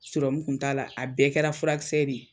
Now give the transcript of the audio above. Sirɔmu kun t'a la a bɛɛ kɛra furakisɛ de ye